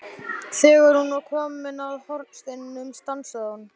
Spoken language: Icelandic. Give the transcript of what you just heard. Þegar hún var komin að hornsteininum stansaði hún.